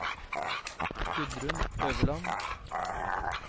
Gudrun Øverland